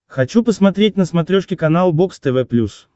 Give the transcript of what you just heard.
хочу посмотреть на смотрешке канал бокс тв плюс